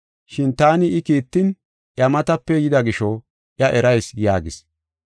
Shin taani I kiittin iya matape yida gisho iya erayis” yaagis.